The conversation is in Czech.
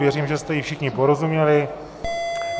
Věřím, že jste jí všichni porozuměli.